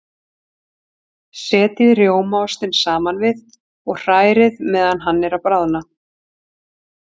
Setjið rjómaostinn saman við og hrærið meðan hann er að bráðna.